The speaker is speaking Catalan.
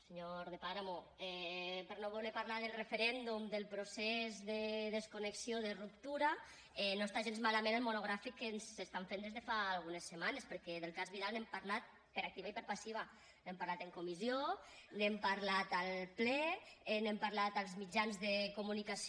senyor de páramo per no voler parlar del referèndum del procés de desconnexió de ruptura no està gens malament el monogràfic que ens estan fent des de fa algunes setmanes perquè del cas vidal n’hem parlat per activa i per passiva n’hem parlat en comissió n’hem parlat al ple n’hem parlat als mitjans de comunicació